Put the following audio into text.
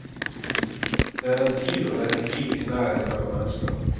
Det er en tid og et liv i nærhet mellom mennesker.